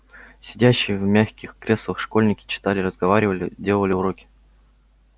сидящие в мягких креслах школьники читали разговаривали делали уроки